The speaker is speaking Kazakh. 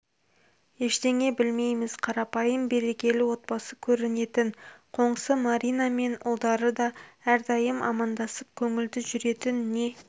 ештеңе білмейміз қарапайым берекелі отбасы көрінетін қоңсы маринамен ұлдары да әрдайым амандасып көңілді жүретін не